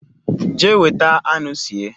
Jea weta anu sie